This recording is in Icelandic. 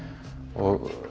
og